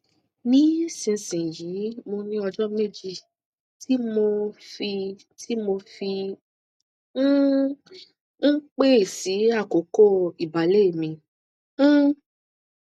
nísinsìnyí mo ní ọjọ méjì tí mo fi tí mo fi um ń pẹ sí àkókò ìbàlẹ mi um